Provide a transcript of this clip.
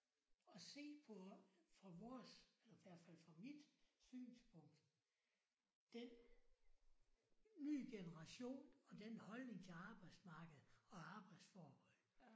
At se på fra vores eller hvert fald fra mit synspunkt den nye generation og den holdning til arbejdsmarkedet og arbejdsforhold